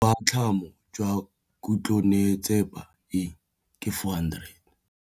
Boatlhamô jwa khutlonnetsepa e, ke 400.